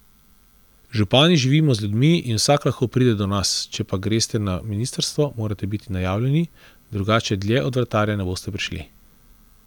Župani živimo z ljudmi in vsak lahko pride do nas, če pa greste na ministrstvo, morate biti najavljeni, drugače dlje od vratarja ne boste prišli.